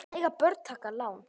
Mega börn taka lán?